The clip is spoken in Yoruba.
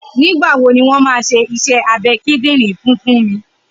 Nigbà wó niwọn mà ṣé iṣẹ àbẹ̀ kíndìnrín fùn Funmi?